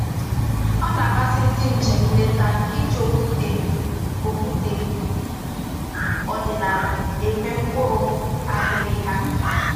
Ọ na-amasị ndị njem nleta iji okwute okwute ọdịnaala egwe mkpụrụ aghịrịgha